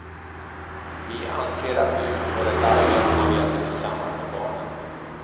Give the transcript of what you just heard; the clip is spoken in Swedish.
Vi anser att vi utför ett arbete när vi äter tillsammans med barnen.